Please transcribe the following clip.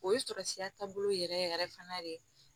O ye sɔrɔsiya taabolo yɛrɛ yɛrɛ fana de